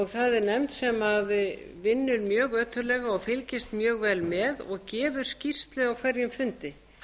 það er nefnd sem vinnur mjög ötullega og fylgist mjög vel með og gefur skýrslu á hverjum fundi